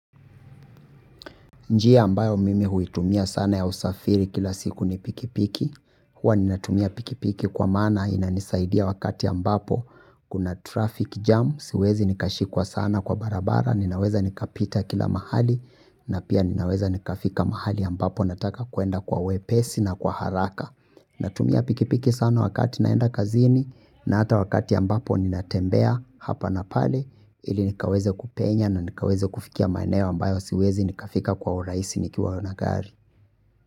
Njia ambayo mimi huitumia sana ya usafiri kila siku ni pikipiki, huwa ninatumia pikipiki kwa maana inanisaidia wakati ambapo kuna traffic jam, siwezi nikashikwa sana kwa barabara, ninaweza nikapita kila mahali na pia ninaweza nikafika mahali ambapo nataka kwenda kwa wepesi na kwa haraka. Natumia pikipiki sana wakati naenda kazini na hata wakati ambapo ninatembea hapa na pale ili nikaweze kupenya na nikaweze kufikia maeneo ambayo siwezi nikafika kwa urahisi nikiwa na gari.